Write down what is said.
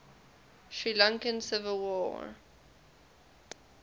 sri lankan civil